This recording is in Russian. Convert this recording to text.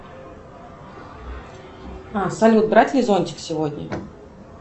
салют брать ли зонтик сегодня